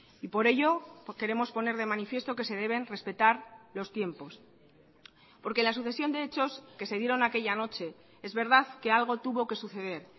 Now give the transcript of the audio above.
y por ello queremos poner de manifiesto que se deben respetar los tiempos porque la sucesión de hechos que se dieron aquella noche es verdad que algo tuvo que suceder